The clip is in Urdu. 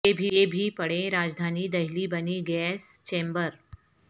یہ بھی پڑھیں راجدھانی دہلی بنی گیس چیمبر